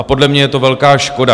A podle mě je to velká škoda.